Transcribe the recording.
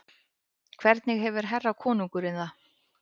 Hvernig hefur herra konungurinn það?